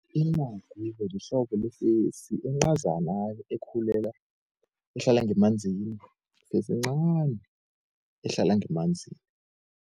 Incagu-ke lihlobo lefesi encazana-ke ehlala ngemanzini, yifesi encani ehlala ngemanzini.